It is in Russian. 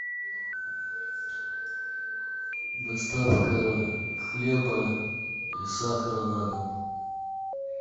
доставка хлеба и сахара на дом